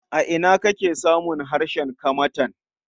A ina ake samun harshen Kamantan?